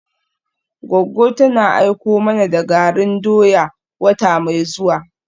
Goggo tana aiko mana da garin doya wata mai zuwa.